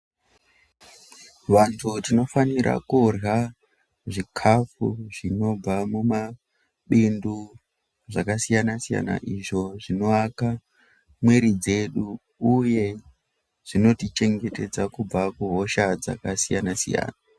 Vandu tinofanira kundwa zvikafu zvinobva mumabindu zvakasiyana siyana izvo zvinoaka mwiri dzedu uye zvino tichengetedza kubva kuhosha dzakasiyana-siyana.